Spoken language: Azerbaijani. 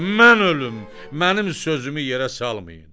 Mən ölüm, mənim sözümü yerə salmayın!